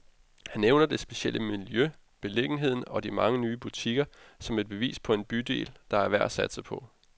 Han nævner det specielle miljø, beliggenheden og de mange nye butikker, som et bevis på en bydel, der er værd at satse på.